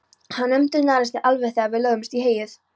Hann umturnaðist alveg þegar við lögðumst í heyið.